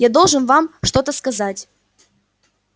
я должен вам что-то сказать